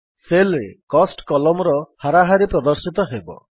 Cellରେ cost Columnର ହାରାହାରି ପ୍ରଦର୍ଶିତ ହେବ